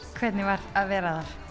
hvernig var að vera þar